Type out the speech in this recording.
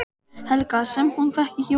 Helga: Sem hún fékk í jólagjöf?